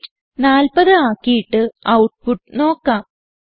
weight 40 ആക്കിയിട്ട് output നോക്കാം